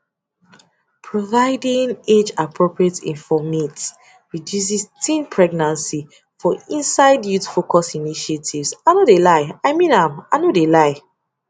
providing age appropriate informate reduces teen pregnancy for inside youthfocused initiatives i no de lie i mean i no de lie